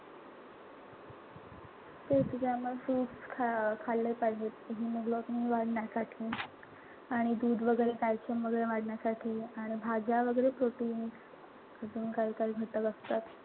तेच त्यामुळे fruits खा खाल्ले पाहिजेत hemoglobin वाढण्यासाठी. आणि दूध वगैरे calcium वाढण्यासाठी. आणि भाज्या वगैरे protein. अजून काही काही घटक असतात.